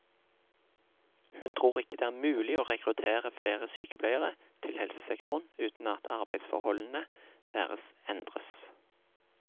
Hun tror ikke det er mulig å rekruttere flere sykepleiere til helsesektoren uten at arbeidsforholdene deres endres.